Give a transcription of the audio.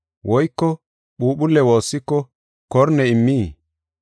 Woyko phuuphulle woossiko korne immii?